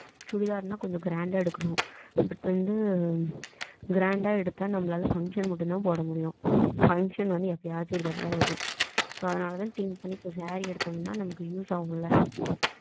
சுடிதாருன கொஞ்சம் grand அஹ எடுக்கணும். இப்போ வந்து grand அஹ எடுத்த நமலாலா function மட்டும் தான் போடா முடியும் function வந்து எப்பையாச்ச்சும் ஒரு தடவதான் வரும் ம் so அதனால think பண்ணி சேரி எடுத்தோம்னா நமக்கு use ஆகும்லா